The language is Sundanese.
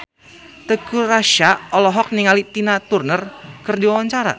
Teuku Rassya olohok ningali Tina Turner keur diwawancara